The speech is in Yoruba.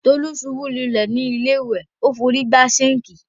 Tolú ṣubú lulẹ̀ ni ilé ìwẹ̀,o fi órí gbá sinkii.